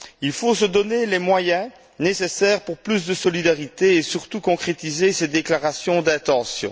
Il faut se donner les moyens nécessaires pour plus de solidarité et surtout concrétiser ces déclarations d'intention.